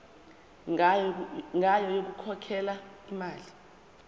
ngayo yokukhokhela imali